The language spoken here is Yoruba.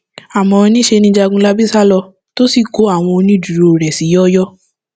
àmọ níṣe ni jágunlábí sá lọ tó sì kó àwọn onídùúró rẹ sí yọọyọ